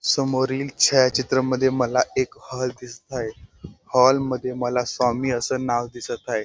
समोरील छायाचित्र मध्ये मला एक हॉल दिसत आहे हॉलमध्ये मला स्वामी अस नाव दिसत आहे.